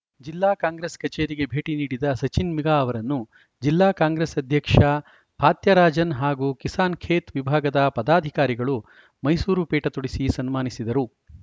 ಜಿಲ್ಲಾ ಕಾಂಗ್ರೆಸ್‌ ಕಚೇರಿಗೆ ಭೇಟಿ ನೀಡಿದ ಸಚಿನ್‌ ಮಿಗ ಅವರನ್ನು ಜಿಲ್ಲಾ ಕಾಂಗ್ರೆಸ್‌ ಅಧ್ಯಕ್ಷ ಫಾತ್ಯರಾಜನ್‌ ಹಾಗೂ ಕಿಸಾನ್‌ಖೇತ್‌ ವಿಭಾಗದ ಪದಾಧಿಕಾರಿಗಳು ಮೈಸೂರು ಪೇಟ ತೊಡಿಸಿ ಸನ್ಮಾನಿಸಿದರು